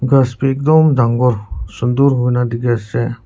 gaas tu ekdum danggor sundor hoi kena ase.